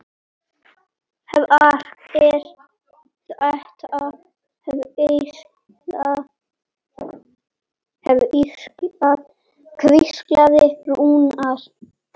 Hver er þetta? hvíslaði Rúna.